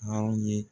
Aw ye